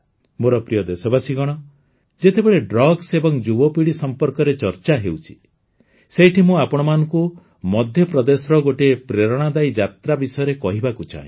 ମୋର ପ୍ରିୟ ଦେଶବାସୀଗଣ ଯେତେବେଳେ ଡ୍ରଗ୍ସ ଏବଂ ଯୁବପୀଢ଼ୀ ସମ୍ପର୍କରେ ଚର୍ଚ୍ଚା ହେଉଛି ସେଇଠି ମୁଁ ଆପଣମାନଙ୍କୁ ମଧ୍ୟପ୍ରଦେଶର ଗୋଟିଏ ପ୍ରେରଣାଦାୟୀ ଯାତ୍ରା ବିଷୟରେ କହିବାକୁ ଚାହେଁ